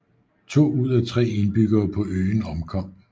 To ud af tre indbyggere på øen omkom